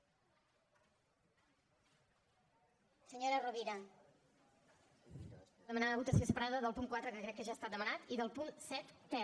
per demanar votació separada del punt quatre que crec que ja ha estat demanat i del punt set ter